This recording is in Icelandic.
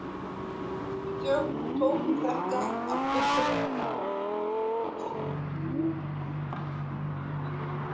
Við tókum þetta af fullri alvöru.